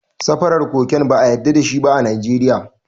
Importing cocaine is not allowed in Nigeria.